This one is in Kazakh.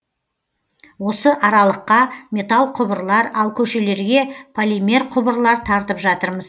осы аралыққа металл құбырлар ал көшелерге полимер құбырлар тартып жатырмыз